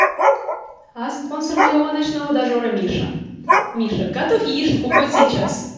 а спонсор моего ночного дожора миша миша готов яишенку хоть сейчас